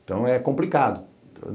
Então, é complicado.